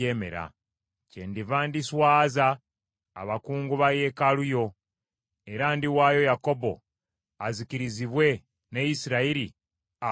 Kyendiva ndiswaza abakungu ba yeekaalu yo, era ndiwaayo Yakobo azikirizibwe ne Isirayiri aswazibwe.”